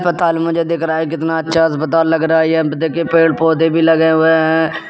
अस्पताल मुझे दिख रहा है कितना अच्छा अस्पताल लग रहा है यह देखिए पेड़ पौधे भी लगे हुए हैं।